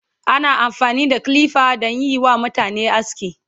ana amfani da kilifa danyi WA mutane aski